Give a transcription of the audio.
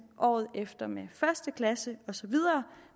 året efter med første klasse osv